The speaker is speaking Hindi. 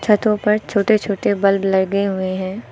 छतों पर छोटे छोटे बल्ब लगे हुए हैं।